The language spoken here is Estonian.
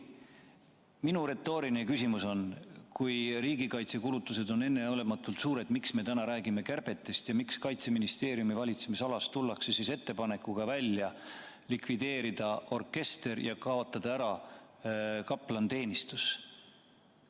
Minu retooriline küsimus on, et kui riigikaitsekulutused on enneolematult suured, siis miks me täna räägime kärbetest ja miks Kaitseministeeriumi valitsemisalas tullakse välja ettepanekuga likvideerida orkester ja kaotada ära kaplaniteenistus?